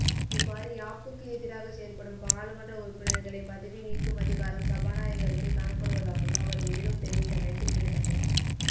இவ்வாறு யாப்புக்கு எதிராகச் செயற்படும் பாராளுமன்ற உறுப்பினர்களைப் பதவி நீக்கும் அதிகாரம் சபாநாயகருக்கு காணப்படுவதாகவும் அவர் மேலும் தெரிவித்தமை குறிப்பிடத்தக்கது